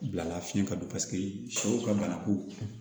Bilala fiɲɛ ka don paseke sɛw ka banako